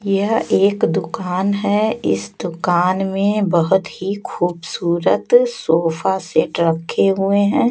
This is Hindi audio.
यह एक दुकान है इस दुकान में बहुत ही खूबसूरत सोफा सेट रखे हुए हैं।